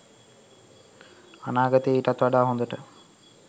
අනාගතයේ ඊටත් වඩා හොදට